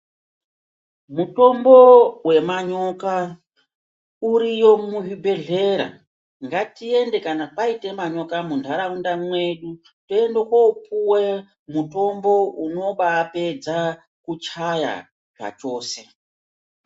Mutombo wemanyoka uriyo muzvibhehlera, ngatiende kana paite manyoka muntaraunda mwedu toende koopuwe mutombo unobapedze kuchaya zvachose.